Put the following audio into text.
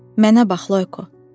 Mənə bax, Loyko.